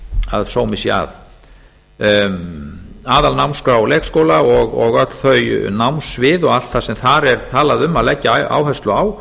að sómi sé að aðalnámskrár leikskóla og öll þau námssviðum og allt það sem þar er talað um að leggja áherslu á